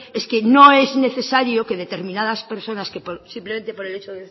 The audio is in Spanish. es que no es necesario que determinadas personas simplemente por el hecho